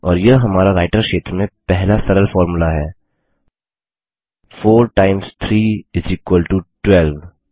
और यह हमारा राइटर क्षेत्र में पहला सरल फॉर्मूला है 4 टाइम्स 3 इस इक्वल टो 12